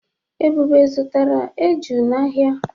Ebube zụtara eju n'ahịa.